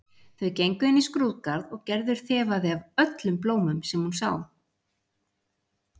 Þau gengu inn í skrúðgarð og Gerður þefaði af öllum blómum sem hún sá.